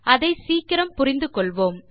அதை சீக்கிரம் புரிந்து கொள்வோம்